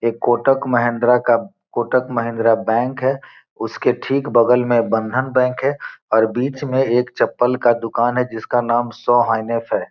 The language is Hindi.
एक कोटक महेंद्रा का कोटक महेंद्रा बैंक है उसके ठीक बगल में बंधन बैंक है और बीच में एक चप्पल का दुकान है जिसका नाम शोहैनेफ़ है।